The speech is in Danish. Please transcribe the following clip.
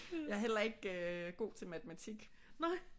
Jeg er heller ikke god til matematik